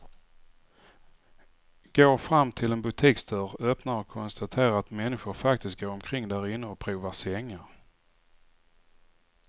Går fram till en butiksdörr, öppnar och konstaterar att människor faktiskt går omkring därinne och provar sängar.